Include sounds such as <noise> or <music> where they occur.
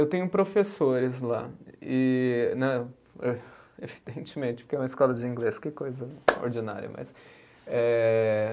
Eu tenho professores lá, e né <unintelligible> evidentemente, porque é uma escola de inglês, que coisa ordinária, mas eh